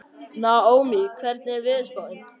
Naómí, hvernig er veðurspáin?